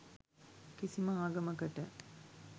කිසිම ආගමකට